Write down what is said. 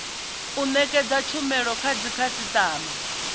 u nekedza tshumelo kha dzikhasitama